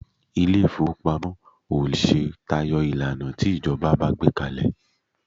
Ilé ìfowópamọ́ ò lè ṣe tayọ ìlànà tí ìjọba bá gbé kalẹ̀